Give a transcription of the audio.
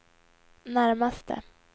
närmaste